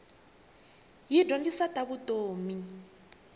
yi dyondzisa ta vutomi